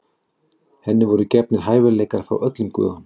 Henni voru gefnir hæfileikar frá öllum guðunum.